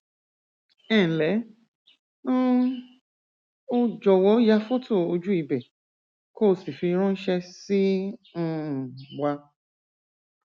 ẹnlẹ um o jọwọ ya fọtò ojú ibẹ kó o sì fi ránṣẹ sí um wa